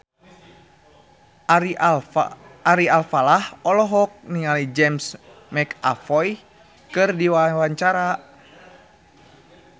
Ari Alfalah olohok ningali James McAvoy keur diwawancara